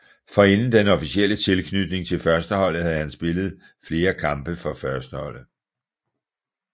Forinden den officielle tilknytning til førsteholdet havde han spillet flere kampe for førsteholdet